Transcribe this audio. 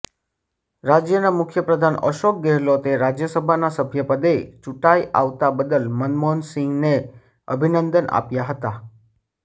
રાજ્યના મુખ્ય પ્રધાન અશોક ગેહલોતે રાજયસભાના સભ્યપદે ચૂંટાઈ આવતા બદલ મનમોહનસિંહને અભિનંદન આપ્યા હતા